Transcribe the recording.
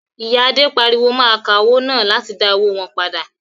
Ìyà Adé pariwo mọ́ akawó náà láti dá owó wọn padà.